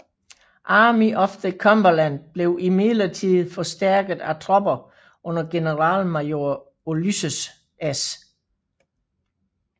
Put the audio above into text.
Army of the Cumberland blev imidlertid forstærket af tropper under generalmajor Ulysses S